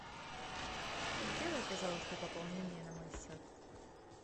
сделай пожалуйста пополнение на мой счет